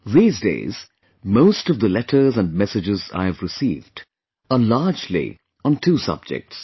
These days, most of the letters and messages I have received are largely on two subjects